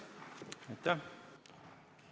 Aitäh!